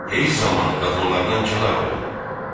Heyz zamanı qadınlardan kənar olun.